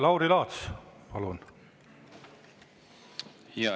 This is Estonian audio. Lauri Laats, palun!